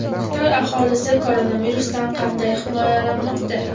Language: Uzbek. Xitoy aholisi koronavirusdan qanday himoyalanmoqda?.